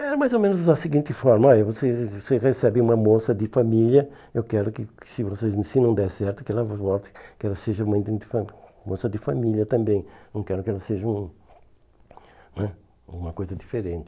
Era mais ou menos da seguinte forma, olha, você você recebe uma moça de família, eu quero que que se vocês se não der certo, que ela volte, que ela seja uma moça de família também, não quero que ela seja um né uma coisa diferente.